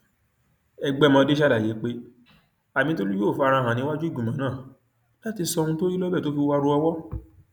ẹgbẹmọdé ṣàlàyé pé amitólú yóò fara hàn níwájú ìgbìmọ náà láti sọ ohun tó rí lọbẹ tó fi wárò owó